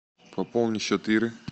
пополни счет иры